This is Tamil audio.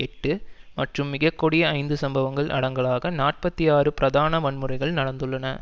எட்டு மற்றும் மிக கொடிய ஐந்து சம்பவங்கள் அடங்களாக நாற்பத்தி ஆறு பிரதான வன்முறைகள் நடந்துள்ளன